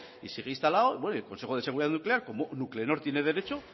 y sigue instalado y el consejo de seguridad nuclear como nuclenor tiene derecho